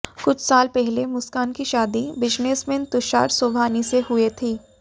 कुछ साल पहले मुस्कान की शादी बिजनेसमैन तुषार शोभानी से हुए थी